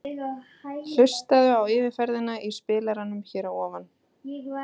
Hlustaðu á yfirferðina í spilaranum hér að ofan.